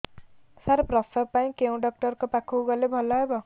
ସାର ପ୍ରସବ ପାଇଁ କେଉଁ ଡକ୍ଟର ଙ୍କ ପାଖକୁ ଗଲେ ଭଲ ହେବ